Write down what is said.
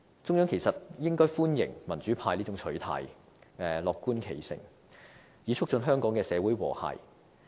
中央其實應該歡迎民主派這種取態，樂觀其成，以促進香港社會的和諧。